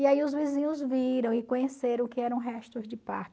E aí os vizinhos viram e conheceram o que eram restos de parto.